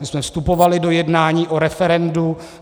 My jsme vstupovali do jednání o referendu.